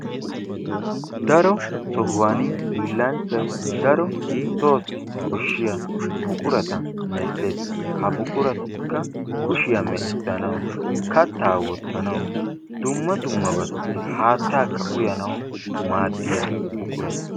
Daro sohuwani hiillanchchayi daro soossi koshshiya buqurata medhdhes. Ha buquratikka kushiya meecissanawu kattaa wottanawu dumma dummabatussi haattaakka uyanawu maaddiya buqurata.